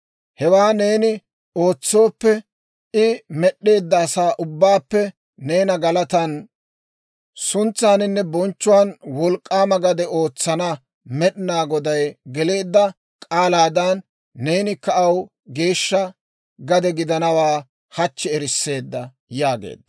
Hewaa neeni ootsooppe, I med'd'eedda asaa ubbaappe neena galatan, suntsaaninne bonchchuwaan wolk'k'aama gade ootsana Med'inaa Goday geleedda k'aalaadan neenikka aw geeshsha gade gidanawaa hachchi erisseedda» yaageedda.